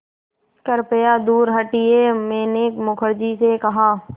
कृपया दूर हटिये मैंने मुखर्जी से कहा